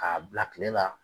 K'a bila kile la.